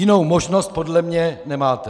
Jinou možnost podle mě nemáte.